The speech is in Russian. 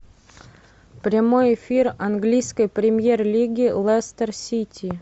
прямой эфир английской премьер лиги лестер сити